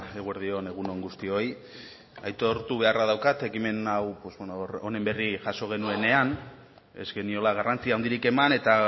eguerdi on egun on guztioi aitortu beharra daukat ekimen hau honen berri jaso genuenean ez geniola garrantzi handirik eman eta